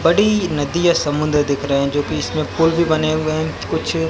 बड़ी नदी या समुद्र दिख रहे है जो कि इसमें पुल भी बने हुए हैं कुछ --